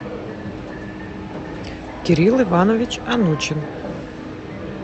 кирилл иванович анучин